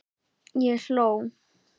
Ég hló.